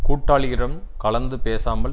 கூட்டாளிகளிடம் கலந்து பேசாமல்